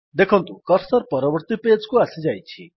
ଦେଖନ୍ତୁ କର୍ସର୍ ପରବର୍ତ୍ତୀ ପେଜ୍ କୁ ଆସିଯାଇଛି